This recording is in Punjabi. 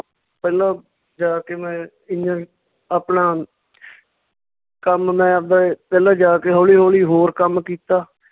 ਪਹਿਲਾਂ ਜਾ ਕੇ ਮੈਂ ਆਪਣਾ ਕੰਮ ਮੈਂ ਆਵਦਾ ਪਹਿਲਾਂ ਜਾ ਕੇ ਹੌਲੀ ਹੌਲੀ ਹੋਰ ਕੰਮ ਕੀਤਾ l